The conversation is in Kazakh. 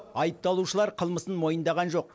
айыпталушылар қылмысын мойындаған жоқ